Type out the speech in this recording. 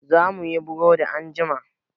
Za muyi burodi anjima.